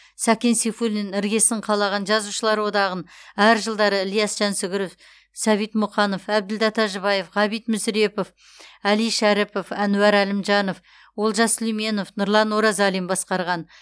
сәкен сейфуллин іргесін қалаған жазушылар одағын әр жылдары ілияс жансүгіров сәбит мұқанов әбділда тәжібаев ғабит мүсірепов әли шәріпов әнуар әлімжанов олжас сүлейменов нұрлан оразалин басқарған